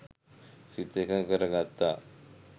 සිත එකඟ කර ගත්තා.